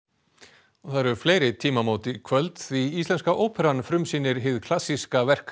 og það eru fleiri tímamót í kvöld því Íslenska óperan frumsýnir hið klassíska verk